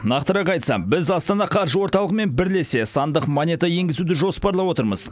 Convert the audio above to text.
нақтырақ айтсақ біз астана қаржы орталығымен бірлесе сандық монета енгізуді жоспарлап отырмыз